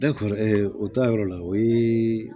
o taayɔrɔ la o ye